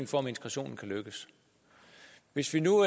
for om integrationen kan lykkes hvis vi nu